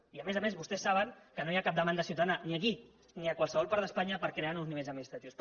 i a més a més vostès saben que no hi ha cap demanda ciutadana ni aquí ni a qualsevol part d’espanya per crear nous nivells administratius